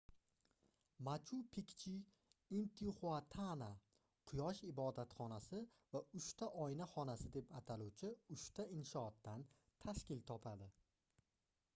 machu-pikchu intixuatana quyosh ibodatxonasi va uchta oyna xonasi deb ataluvchi uchta inshootdan tashkil topadi